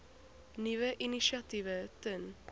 nuwe initiatiewe ten